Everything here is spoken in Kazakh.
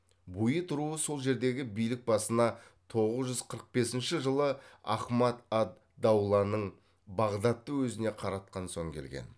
буид руы сол жердегі билік басына тоғыз жүз қырық бесінші жылы ахмад ад дауланың бағдатты өзіне қаратқан соң келген